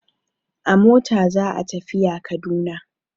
A mota za a tafiya Kaduna.